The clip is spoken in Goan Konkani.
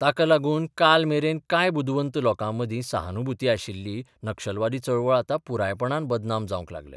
ताका लागून काल मेरेन कांय बुदवंत लोकांमदीं सहानुभुती आशिल्ली नक्षलवादी चळवळ आतां पुरापयपणान बदनाम जावंक लागल्या.